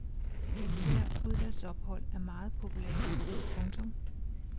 Især udlandsophold er meget populære. punktum